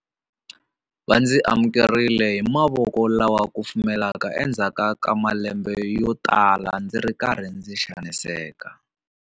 Va ndzi amukerile hi mavoko lama kufumelaka endzhaku ka malembe yotala ndzi ri karhi ndzi xaniseka.